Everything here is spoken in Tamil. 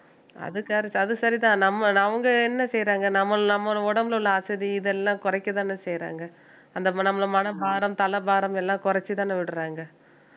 அது correc~ அது சரிதான் நம்ம அவங்க என்ன செய்யறாங்க நம்மள்~ நம்ம உடம்புல உள்ள அசதி இதெல்லாம் குறைக்கத்தானே செய்யறாங்க அந்த மனபாரம் தலபாரம் எல்லாம் குறைச்சுதானே விடுறாங்க